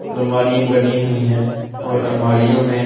अलमारियां बनी हुई हैं और अलमारियों में--